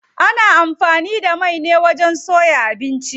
Ana amfani da mai ne wajen soya abinci.